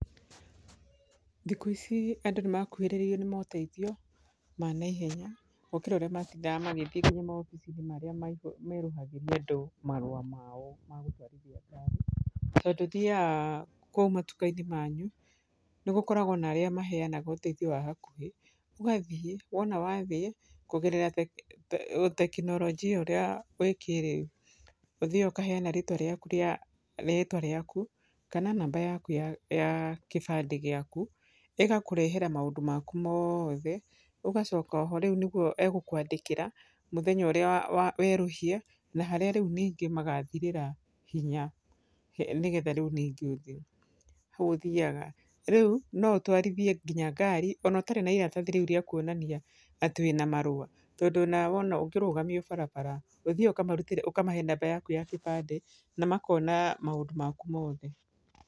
Thikũ ici andũ nĩ makuhĩrĩrĩirio nĩ moteithio ma naihenya gũkĩra ũrĩa matindaga magĩthiĩ nginya maobici-inĩ marĩa merũhagĩria andũ marũa mao ma gũtwarithia ngari. Tondũ ũthiaga kũu matuka-inĩ manyu, nĩ gũkoragwo na arĩa maheanaga ũteithio wa hakuhĩ. Ũgathiĩ, wona wathiĩ, kũgerera ũtekinoronjia ũrĩa wĩ kĩrĩu, ũthiaga ũkaheana rĩtwa rĩaku rĩa rĩtwa rĩaku, kana namba yaku ya ya kĩbandĩ gĩaku, ĩgakũrehera maũndũ maku mothe, ũgacoka oho rĩu nĩguo egũkũandĩkĩra mũthenya ũrĩa wa wa werũhia, na harĩa rĩu ningi magathirĩra hinya nĩgetha rĩu ningĩ ũthi hau ũthiaga. Rĩu no ũtwarithie nginya ngari ona ũtarĩ na iratathi rĩu rĩa kuonania atĩ wĩna marũa. Tondũ ona wona ũngĩrũgamio barabara, ũthiaga ũkamarutĩra ũkamahe namba yaku ya kĩbandĩ, na makona maũndũ maku mothe.